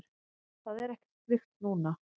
Það er ekkert slíkt núna.